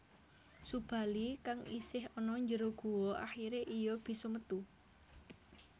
Subali kang isih ana jero guwa akhire iya bisa metu